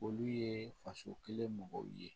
Olu ye faso kelen mɔgɔw ye